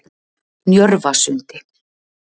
Njörvasundi